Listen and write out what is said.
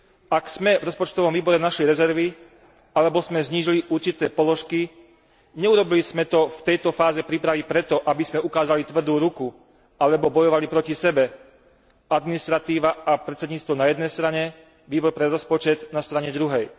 Ak sme v rozpočtovom výbore našli rezervy alebo sme znížili určité položky, neurobili sme to v tejto fáze prípravy preto, aby sme ukázali tvrdú ruku alebo bojovali proti sebe administratíva a predsedníctvo na jednej strane, Výbor pre rozpočet na strane druhej.